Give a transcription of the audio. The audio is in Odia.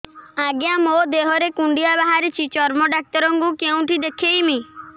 ଆଜ୍ଞା ମୋ ଦେହ ରେ କୁଣ୍ଡିଆ ବାହାରିଛି ଚର୍ମ ଡାକ୍ତର ଙ୍କୁ କେଉଁଠି ଦେଖେଇମି